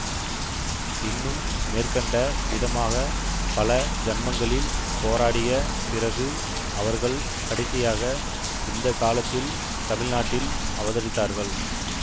இன்னும் மேற்கண்ட விதமாக பல ஜன்மங்களில் போராடிய பிறகு அவர்கள் கடைசியாக இந்த காலத்தில் தமிழ் நாட்டில் அவதரித்தார்கள்